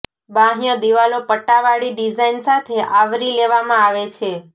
બાહ્ય દિવાલો પટ્ટાવાળી ડિઝાઇન સાથે આવરી લેવામાં આવે છે